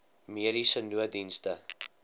mediese nooddienste